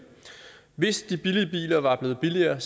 hvis de billige biler var blevet billigere